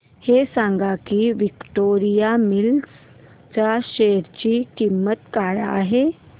हे सांगा की विक्टोरिया मिल्स च्या शेअर ची किंमत काय आहे